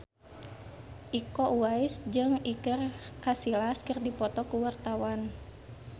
Iko Uwais jeung Iker Casillas keur dipoto ku wartawan